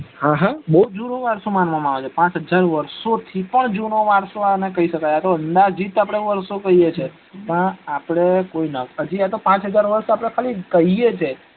હા હા બવ જુનો વારસો માનવા માં આવે છે પાંચ હજાર વર્ષો થી પણ જુનો વારસો કઇ શકાય આતો અંદાજીત આપડે આટલો વારસો કઇ શકીએ છી કે આપડે પાંચ હજાર ખાલીં કઈએ છીએ